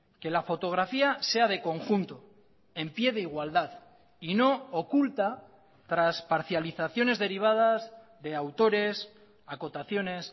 que la fotografía sea de conjunto en píe de igualdad y no oculta tras parcializaciones derivadas de autores acotaciones